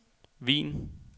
Wien